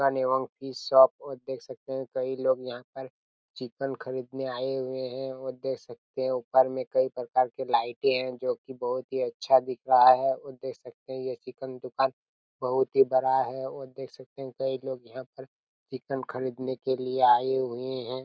Chicken एवं fish shop और देख सकते हैं कई लोग यहाँ पर चिकन खरीदने आए हुए हैं और देख सकते हो ऊपर में कई प्रकार के लाइटे है जो की बहुत ही अच्छा दिख रहा है और देख सकते हैं यह चिकन दुकान बहोत ही बड़ा है और देख सकते हैं कई लोग यहाँ पर चिकन खरीदने के लिए आए हुए हैं।